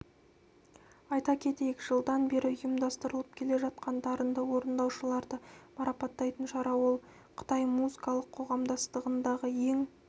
айта кетейік жылдан бері ұйымдастырылып келе жатқан дарынды орындаушыларды марапаттайтын шара ол қытай музыкалық қоғамдастығындағы ең